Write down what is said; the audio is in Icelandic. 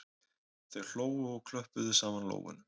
Þau hlógu og klöppuðu saman lófunum